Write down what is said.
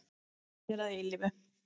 Vinir að eilífu.